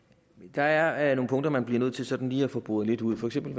der er nogle punkter man bliver nødt til sådan lige at få boret lidt ud for eksempel